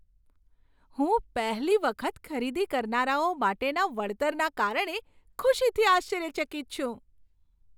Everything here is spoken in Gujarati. હું પહેલી વખત ખરીદી કરનારાઓ માટેના વળતરના કારણે ખુશીથી આશ્ચર્યચકિત છું.